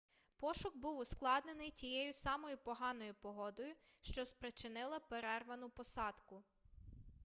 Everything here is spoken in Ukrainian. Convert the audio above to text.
пошук був ускладнений тією самою поганою погодою що спричинила перервану посадку